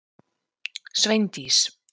Sveindís